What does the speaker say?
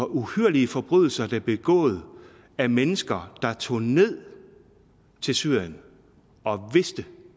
uhyrlige forbrydelser der begået af mennesker der tog ned til syrien og vidste